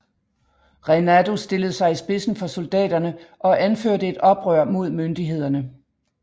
Reinado stillede sig i spidsen for soldaterne og anførte et oprør mod myndighederne